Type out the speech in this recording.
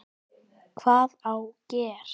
Hvað á gera?